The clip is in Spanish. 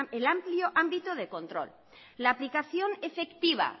el amplio ámbito de control la aplicación efectiva